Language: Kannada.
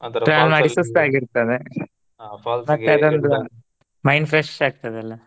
ಸುಸ್ತ ಆಗೀರ್ತದ mind fresh ಆಕ್ತದಲ್ಲ.